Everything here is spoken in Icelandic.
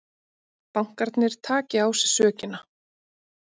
Bankarnir taki á sig sökina